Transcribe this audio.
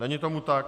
Není tomu tak.